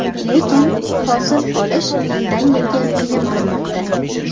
Lekin hosil olish yildan-yilga qiyin bo‘lmoqda.